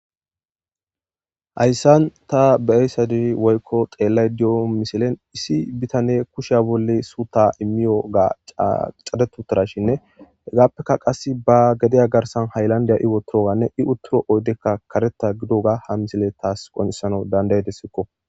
hayssan ta beeyssadi woykko xeellay di7o misilen issi bitane kusheya bolle suuta immiyo ga cadetutarashinne hegaappeka qas ba gedeya garsan haylandiya iwotoroganne i utturo oydekka kareta gidoga ha misile taas qonesano dandayedessikko